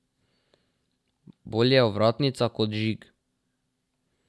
Bolje ovratnica kot žig.